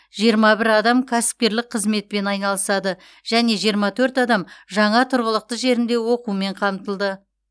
жиырма бір адам кәсіпкерлік қызметпен айналысады және жиырма төрт адам жаңа тұрғылықты жерінде оқумен қамтылды